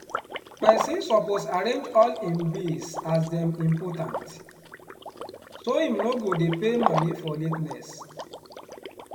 pesin suppose arrange all im bills as dem impotant so im no go dey pay moni for la ten ess.